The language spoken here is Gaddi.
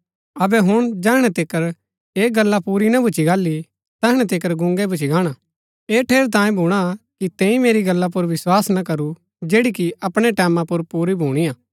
अबै हुण जैहणै तिकर ऐह गल्ला पूरी ना भुच्‍ची गाहली तैहणै तिकर गूंगै भूच्ची गाणा ऐह ठेरैतांये भूणा कि तैंई मेरी गल्ला पुर विस्वास ना करू जैड़ी कि अपणै टैमां पुर पूरी भुणीआ